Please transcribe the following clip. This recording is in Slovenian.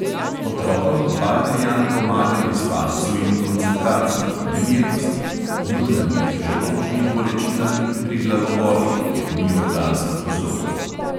Otrokom baldrijan pomaga pri spancu in koncentraciji, nemirnosti, jutranjih želodčnih bolečinah in pri glavobolih, kjer ni organskih vzrokov.